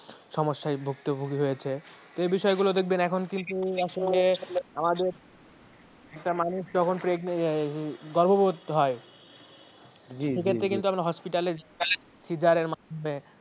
সমস্যায় ভুক্তভোগী হয়েছে এই বিষয়গুলো দেখবেন এখন কিন্তু আসলে আমাদের একটা মানুষ যখন preg গর্ভবর্তী হয় সেক্ষেত্রে ক্ষেত্রে কিন্তু hospitalcaesar এর মাধ্যেমে